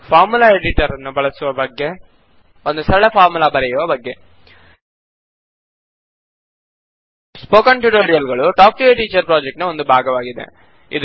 formula editor ನ್ನು ಬಳಸುವ ಬಗ್ಗೆ ಒಂದು ಸರಳ ಫಾರ್ಮುಲಾ ಬರೆಯುವ ಬಗ್ಗೆ ಸ್ಪೋಕನ್ ಟ್ಯುಟೋರಿಯಲ್ ಗಳು talk to a teacher project ನ ಒಂದು ಭಾಗವಾಗಿದೆ